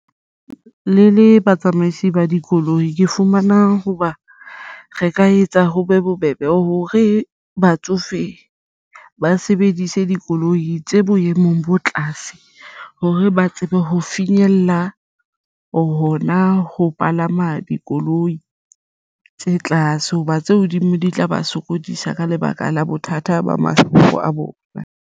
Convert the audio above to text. Le le batsamaisi ba dikoloi ke fumana hoba re ka etsa ho be bobebe hore batsofe ba sebedise dikoloi tse boemong bo tlase hore ba tsebe ho finyella hona ho palama dikoloi tse tlase hoba tse hodimo di tla ba sokodisa ka lebaka la bothata ba mahlo a bona.